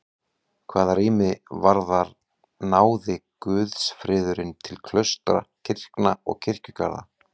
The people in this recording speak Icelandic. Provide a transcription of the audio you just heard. Hvað rými varðar náði guðsfriðurinn til klaustra, kirkna og kirkjugarða.